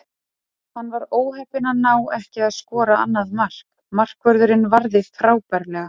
Hann var óheppinn að ná ekki að skora annað mark, markvörðurinn varði frábærlega.